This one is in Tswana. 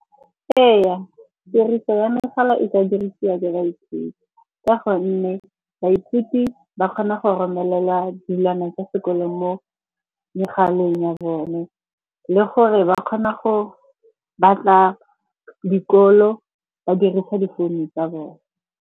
Ee, tiriso ya megala e ka dirisiwa ke baithuti ka gonne baithuti ba kgona go romelela dilwana tsa sekolo mo megaleng ya bone. Le gore ba kgona go batla dikolo ba dirisa difounu tsa bone.